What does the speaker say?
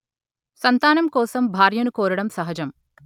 సంతానం కోసం భార్యను కోరడం సహజం